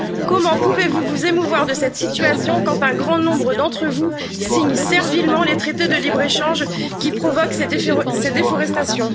Comment pouvez vous vous émouvoir de cette situation quand un grand nombre d'entre vous signent servilement les traités de libre échange qui provoquent cette déforestation?